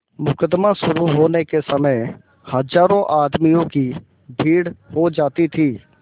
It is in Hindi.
मुकदमा शुरु होने के समय हजारों आदमियों की भीड़ हो जाती थी